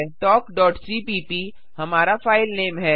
talkसीपीप हमारा फाइलनेम है